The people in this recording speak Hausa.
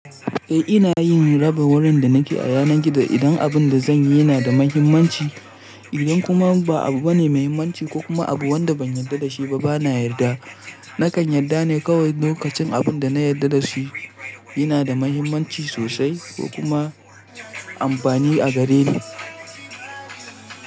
Eh ina yin rabin wurin da nake a yanar gizo idan abun da zanyi yana da muhimmanci. Idan kuma ba abu bane muhimmanci ko kuma abu wanda ban yarda da shi ba bana yarda. Nakan yarda ne kawai lokacin abun da na yarda da shi yana da muhimmanci sosai ko kuma amfani a gareni.